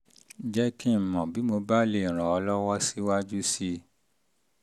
jẹ́ kí n mọ̀ bí mo bá lè ràn um ọ́ um lọ́wọ́ síwájú sí i